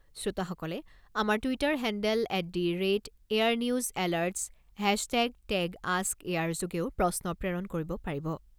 শ্ৰোতাসকলে আমাৰ Twitter handle at the rate Air News alerts hashtag tag ask Air যোগেও প্ৰশ্ন প্ৰেৰণ কৰিব পাৰিব।